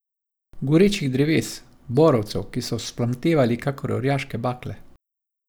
Gorečih dreves, borovcev, ki so vzplamtevali kakor orjaške bakle.